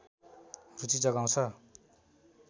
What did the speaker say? रुचि जगाउँछ